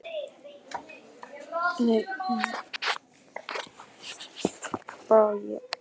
Dagurinn, þegar halda átti í verið, var svo ákveðinn.